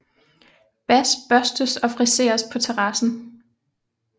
Bas børstes og friseres på terrassen